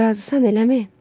Razısan, eləmi?